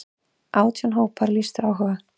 Átján hópar lýstu áhuga.